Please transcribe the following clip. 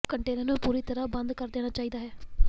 container ਨੂੰ ਪੂਰੀ ਤਰ੍ਹਾਂ ਬੰਦ ਕਰ ਦੇਣਾ ਚਾਹੀਦਾ ਹੈ